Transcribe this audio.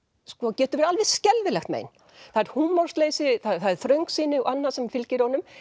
getur verið alveg skelfilegt mein það er húmorsleysi það er þröngsýni og annað sem fylgir honum